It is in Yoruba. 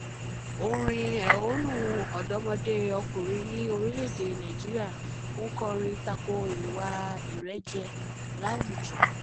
orin ẹ̀hónú àwọn ọ̀dọ́mọdé okòrin ní orílẹ̀-èdè nàìjíríà ń kọrin takò ìwà ìrẹ́jẹ láwùjọ